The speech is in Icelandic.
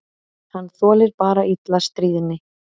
Hann þolir bara illa stríðni.